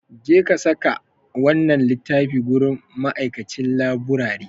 Jeka saka wannan littafin gurin ma'aikacin laburare.